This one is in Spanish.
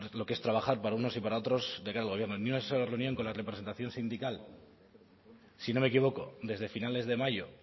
lo que es trabajar para unos y para otros de cara al gobierno ni una sola reunión con la representación sindical si no me equivoco desde finales de mayo